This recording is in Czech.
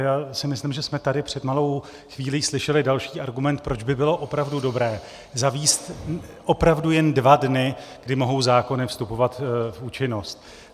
Já si myslím, že jsme tady před malou chvílí slyšeli další argument, proč by bylo opravdu dobré zavést opravdu jen dva dny, kdy mohou zákony vstupovat v účinnost.